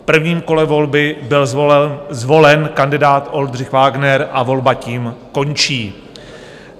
V prvním kole volby byl zvolen kandidát Oldřich Vágner a volba tím končí.